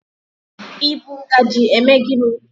I bụ ngajị eme gini?